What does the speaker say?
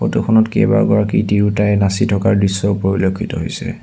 Photo খনত কেইবাগৰাকী তিৰুতায়ে নাচি থকাৰ দৃশ্য পৰিলক্ষিত হৈছে।